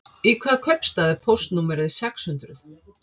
Í hvaða kaupstað er póstnúmerið sex hundruð?